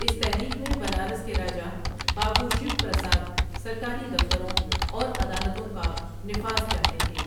اس تحریک میں بنارس کے راجا بابو شیو پرساد سرکاری دفتروں اور عدالتوں کا نفاذ چاہتے تھے ۔